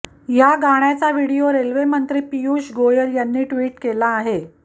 या गाण्याचा video railway मंत्री पियुष गोयल यांनी ट्विट केला आहे